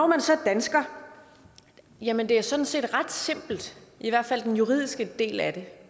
man så dansker jamen det er sådan set ret simpelt i hvert fald den juridiske del af det